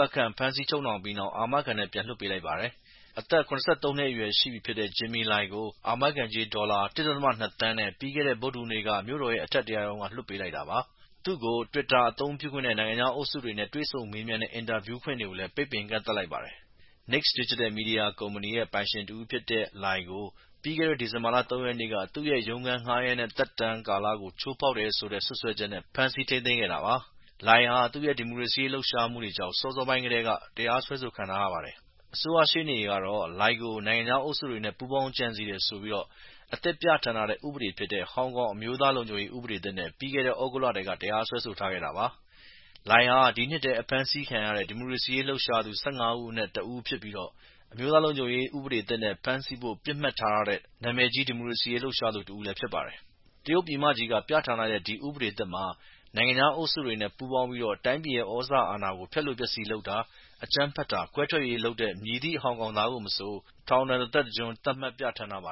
တ်ခန့်ဖမ်းဆီးချုပ်နှောင်ပြီးနောက် အမခံနဲ့ပြန်လွှတ်ပေးလိုက်ပါတယ်။ အသက် ၇၃ နှစ်အရွယ်ရှိပြီဖြစ်တဲ့ Jimmy Lai ကို အာမခံကြေး ဒေါ်လာ၁.၂ သန်းနဲ့ ပြီးခဲ့တဲ့ ဗုဒ္ဓဟူးနေ့က မြို့တော်ရဲ့ အထက်တရားရုံးက လွှတ်ပေးလိုက်တာပါ။ သူ့ကို twitter အသုံးပြုခွင့်နဲ့ နိုင်ငံခြားအုပ်စုတွေနဲ့တွေ့ဆုံမေးမြန်းတဲ့ အင်တာဗျူးခွင့်တွေကိုလည်း ပိတ်ပင်ကန့်သတ်လိုက်ပါတယ်။ Next Digital media Company ရဲ့ ပိုင်ရှင်တဦးဖြစ်တဲ့ Lai ကို ပြီးခဲ့တဲ့ ဒီဇင်ဘာလ ၃ ရက်နေ့က သူ့ရဲ့ရုံးခန်း ငှားရမ်းတဲ့ သက်တမ်းကာလကို ချိုးဖောက်တယ်ဆိုတဲ့ စွတ်စွဲချက်နဲ့ ဖမ်းဆီးထိနိးသိမ်းခဲ့တာပါ။ Lai ဟာ သူ့ရဲ့ ဒီမိုကရေစီရေးထောက်ခံတဲ့လှုပ်ရှားမှုတွေကြောင့် စောစောပိုင်းကတည်းက တရားစွဲဆိုခြင်းခံထားရပါတယ်။ အစိုးရရှေ့နေတွေကတော့ Lai ကို “နိုင်ငံခြားအုပ်စုတွေနဲ့ပူးပေါင်းကြံစည်တယ်” ဆိုပြီး အသစ်ပြဌာန်းထားတဲ့ ဥပဒေဖြစ်တဲ့ ဟောင်ကောင်အမျိုးသားလုံခြုံရေးဥပဒေသစ်နဲ ပြီးခဲ့တဲ့ သြဂုတ်လထဲက့တရားစွဲဆိုထားခဲ့တာပါ။ Lai ဟာ ဒီနှစ်ထဲ အဖမ်းဆီးခံထားတဲ့ ဒီမိုကရေစီလှုပ်ရှားသူ ၁၅ ဦးအနက် တဦးဖြစ်ပြီး အမျိုးသားလုံခြုံရေးဥပဒေသစ်နဲ့ဖမ်းဆီးဖို့ပစ်မှတ်ထားထားတဲ့ နာမည်ကြီး ဒီမိုကရေစီရေးလှုပ်ရှားသူတဦးဖြစ်ပါတယ်။ တရုတ်ပြည်မကြီးက ပြဌာန်းလိုက်တဲ့ ဒီဥပဒေသစ်မှာ နိုင်ငံခြားအုပ်စုတွေနဲ့ပူးပေါင်းပြီး တိုင်းပြည်ရဲ့ သြဇာအာဏာကို ဖျက်လိုဖျက်ဆီးလုပ်တာ၊ အကြမ်းဖက်တာ၊ ခွဲထွက်ရေးလုပ်တဲ့ မည်သည့် ဟောင်ကောင်သားကို မဆို ထောင်ဒဏ် တသက်တကျွန်းသတ်မှတ်ပြဌာန်းထားပါ